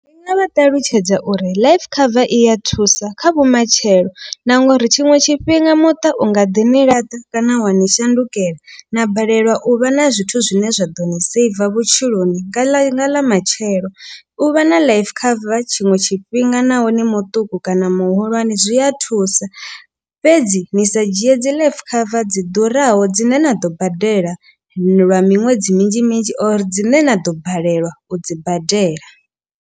Ndinga vha ṱalutshedza uri life cover i ya thusa kha vhumatshelo na nga uri tshiṅwe tshifhinga muṱa u nga ḓi ni laṱa kana wani shandukela. Na balelwa u vha na zwithu zwine zwa ḓo ni seiva vhutshiloni nga ḽa nga ḽa matshelo. U vha na life cover tshiṅwe tshifhinga naho ni muṱuku kana muhulwane zwi a thusa. Fhedzi ni sa dzhie dzi life cover dzi ḓuraho dzine na ḓo badela lwa miṅwedzi minzhi minzhi or dzine na ḓo balelwa u dzi badela.